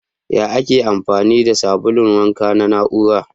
Ya Ake amfani da sabulun wanka na na'ura?